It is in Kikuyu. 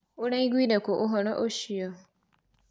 ũraiguire kũ ũhoro ũcio.